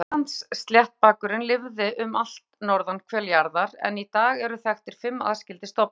Grænlandssléttbakurinn lifði um allt norðurhvel jarðar en í dag eru þekktir fimm aðskildir stofnar.